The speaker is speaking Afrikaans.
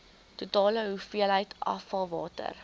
totale hoeveelheid afvalwater